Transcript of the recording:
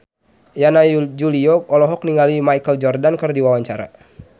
Yana Julio olohok ningali Michael Jordan keur diwawancara